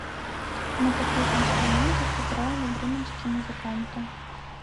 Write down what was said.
на каких инструментах играли бременские музыканты